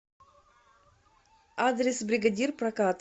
адрес бригадир прокат